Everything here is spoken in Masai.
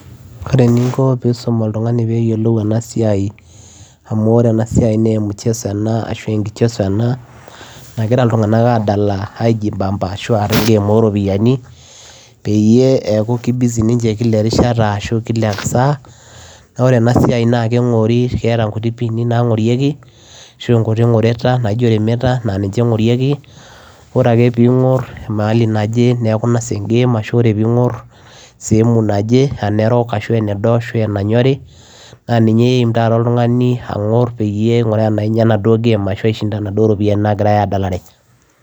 Oree eninkoo peyiee iisum oltunganii peyiee eyilou ena siai amuuu inkichezo enaa nagiraa ilntunganak adaala aara ee game oo ropiyiani peyiee eeku ninje kila saa oree enaa siai na ketaa nkutik ngoretaa naangorieki naa ninje engoriekii neeku teningorr eweujii neje neeku inosaa e game